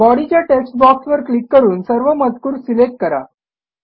बॉडीच्या टेक्स्ट बॉक्सवर क्लिक करून सर्व मजकूर सिलेक्ट करा